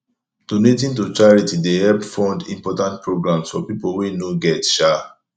donating to charity dey help fund important programs for pipo wey no get um